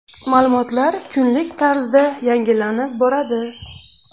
Ma’lumotlar kunlik tarzda yangilanib boriladi.